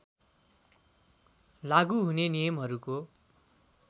लागू हुने नियमहरूको